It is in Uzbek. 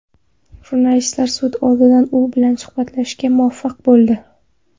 Jurnalistlar sud oldidan u bilan suhbatlashishga muvaffaq bo‘ldi.